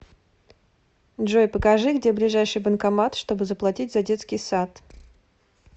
джой покажи где ближайший банкомат чтобы заплатить за детский сад